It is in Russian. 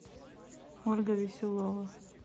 ольга веселова